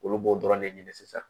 Olu b'o dɔrɔn de ɲini sisan